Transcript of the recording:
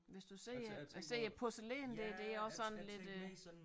Hvis du siger siger porcelæn det det er også sådan lidt øh